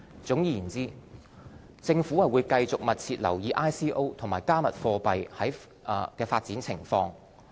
總括而言，政府會繼續密切留意 ICO 和"加密貨幣"的發展情況。